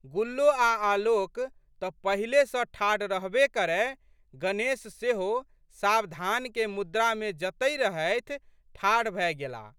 गुल्लो आ आलोक तऽ पहिले सऽ ठाढ़ रहबे करए, गणेश सेहो सावधानके मुद्रामे जतहि रहथि, ठाढ़ भए गेलाह।